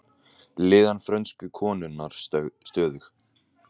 Líðan frönsku konunnar stöðug